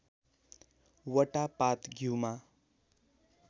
वटा पात घ्यूमा